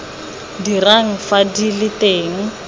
dirang fa di le teng